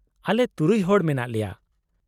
-ᱟᱞᱮ ᱛᱩᱨᱩᱭ ᱦᱚᱲ ᱢᱮᱱᱟᱜ ᱞᱮᱭᱟ ᱾